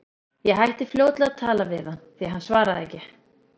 Ég hætti fljótlega að tala við hann, því hann svaraði ekki.